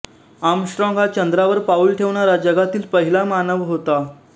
Armstrong हा चंद्रावर पाउल ठेवणारा जगातील पहिला मानव होता